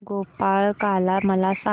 गोपाळकाला मला सांग